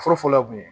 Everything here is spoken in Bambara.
Fɔlɔfɔlɔ kun ye